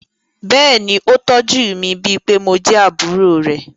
Bẹ́ẹ̀ ni, ó tọ́jú mi, bíi pé mo jẹ́ àbúrò rẹ̀.